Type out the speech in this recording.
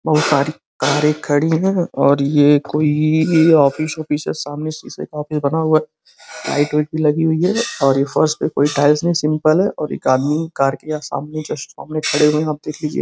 बहोत सारी कारे खड़ी हैं और ये कोई ऑफिस-ऑफिस है। सामने शीशे का ऑफिस बना हुआ है। लाइट व्वाइट भी लगी हुई हैं और ये फर्श पे कोई टाइल नहीं है सिंपल है और एक आदमी कार के सामने जस्ट सामने खड़े हुए है। आप देख लीजिये।